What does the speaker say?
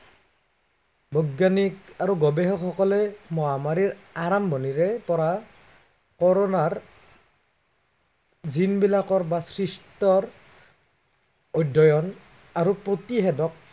বৈজ্ঞানিক আৰু গৱেষকসকলে মহামাৰীৰ আৰম্ভণিৰে পৰা, কৰোনাৰ জিনবিলাকৰ বা সৃষ্টৰ অধ্য়য়ণ আৰু প্ৰতিষেধক